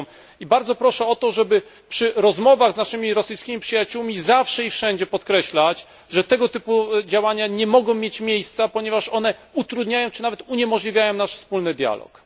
I bardzo proszę o to, żeby przy rozmowach z naszymi rosyjskimi przyjaciółmi zawsze i wszędzie podkreślać, że tego typu działania nie mogą mieć miejsca, ponieważ one utrudniają, czy nawet uniemożliwiają, nasz wspólny dialog.